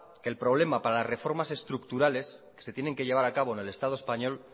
que el problema para reformas estructurales que se tienen que llevar a cabo en el estado español